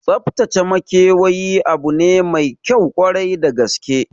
Tsaftace makewayi abu ne maikyau kwarai da gaske